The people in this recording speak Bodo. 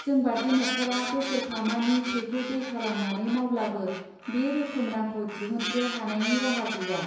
जोंबादि न'खरा बोसोरफामानि थैखौ दै खालामनानै मावब्लाबो बे रोखोम रांखौ दिहुत्रो हानायनि राहा गैया.